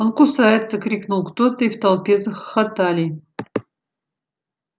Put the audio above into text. он кусается крикнул кто-то и в толпе захохотали